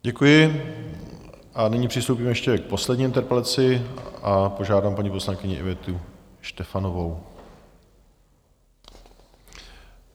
Děkuji a nyní přistoupíme ještě k poslední interpelaci a požádám paní poslankyni Ivetu Štefanovou.